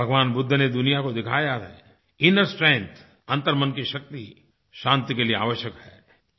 भगवान बुद्ध ने दुनिया को दिखाया है इनर स्ट्रेंग्थ अंतर्मन की शक्ति शांति के लिए आवश्यक है